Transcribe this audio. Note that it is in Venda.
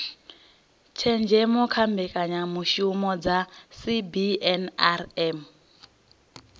tshenzhemo kha mbekanyamishumo dza cbnrm